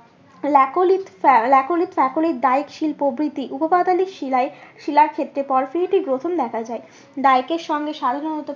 প্রভৃতি উপপাতলীক শিলায়, শিলার ক্ষেত্রে গ্রথন দেখা যায় ডাইকের সঙ্গে সাধারণত